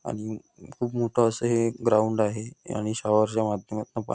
आणि खूप मोठं असं हे ग्राउंड आहे आणि शॉवर च्या माध्यमातन पाणी--